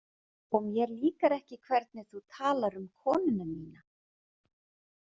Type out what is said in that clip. Og mér líkar ekki hvernig þú talar um konuna mína